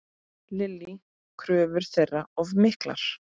Lillý: Kröfur þeirra of miklar?